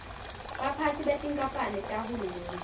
baphatsi betinkamphane tahulumende